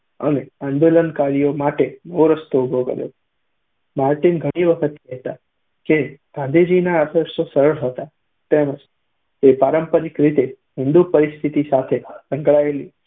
અને આંદોલનકારીઓ માટે નવો રસ્તો ઊભો કર્યો. માર્ટીન ઘણી વખત કહેતા કે ગાંધીજીના આદર્શો સરળ હતા તેમજ તે પારંપરિક રીતે હિન્દુ સંસ્કૃતિ સાથે સંકળાયેલી